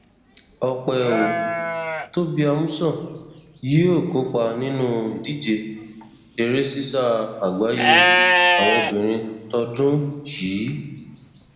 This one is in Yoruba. ọpẹ ò tóbi amusan yóò kópa nínú ìdíje eré sísá àgbáyé àwọn obìnrin tọdún yìí